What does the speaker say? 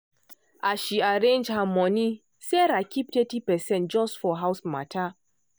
as she arrange her money sarah keep thirty percent just for um house matter.